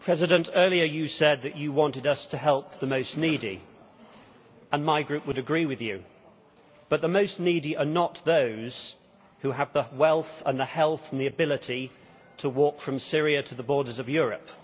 Mr President, earlier you said that you wanted us to help the most needy and my Group would agree with you but the most needy are not those who have the wealth, the health and the ability to walk from Syria to the borders of Europe.